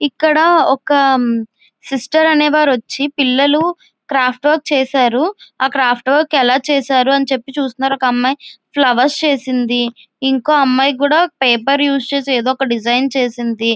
ఇక్కడ ఒక సిస్టర్ అనే వారు వచ్చా పిల్లలు క్రాఫ్ట్ వర్క్ చేశారు. ఆ క్రాఫ్ట్ వర్క్ ఎలా చేసారో అని చెప్పి చూస్తూన్నారు. ఒక అమ్మాయి ఫ్లవర్స్ చేసింది ఇంకో అమ్మాయి కూడా పేపర్ ఉస్ చేసి ఏదో ఒక డిజైన్ చేసింది.